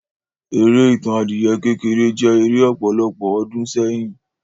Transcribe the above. Eré Ìtàn adìyẹ kékeré jẹ́ eré ọ̀pọ̀lọpọ̀ ọdún sẹ́yìn.